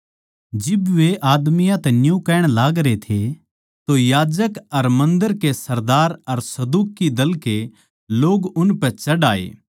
जिब वे आदमियाँ तै न्यू कहण लागरे थे तो याजक अर मन्दर के सरदार अर सदूकी दल के लोग उनपै चढ़ आये